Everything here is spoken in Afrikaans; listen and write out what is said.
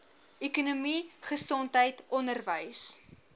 ekonomie gesondheid onderwys